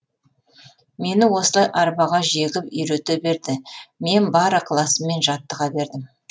мені осылай арбаға жегіп үйрете берді мен бар ықыласыммен жаттыға бердім